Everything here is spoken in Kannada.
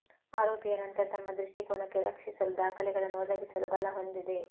ಆರೋಪಿಯ ನಂತರ ತಮ್ಮ ದೃಷ್ಟಿಕೋನಕ್ಕೆ ರಕ್ಷಿಸಲು ದಾಖಲೆಗಳನ್ನು ಒದಗಿಸಲು ಬಲ ಹೊಂದಿದೆ